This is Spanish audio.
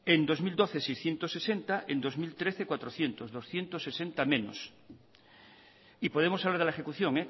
en dos mil doce seiscientos sesenta y en dos mil trece laurehun doscientos sesenta menos y podemos hablar de la ejecución